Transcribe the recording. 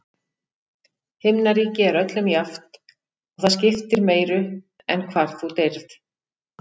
Himnaríki er öllum jafnt, og það skiptir meiru en hvar þú deyrð.